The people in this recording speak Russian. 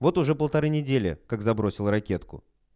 вот уже полторы недели как забросил ракетку